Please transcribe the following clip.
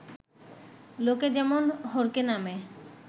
লোকে যেমন হড়কে নামে